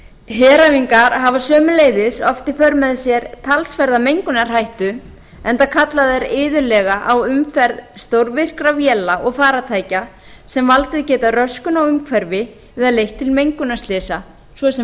heræfingar hafa sömuleiðis oft í för með sér talsverða mengunarhættu enda kalla þær iðulega á umferð stórvirkra véla og farartækja sem valdið geta röskun á umhverfi og leitt til mengunarslysa svo sem